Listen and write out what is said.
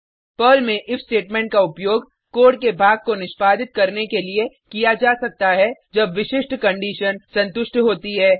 Perl में if statement का उपयोग कोड के भाग को निष्पादित करने के लिए किया जा सकता है जब विशिष्ट कंडिशन संतुष्ट होती है